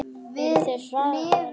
Eru þeir harðari en hann?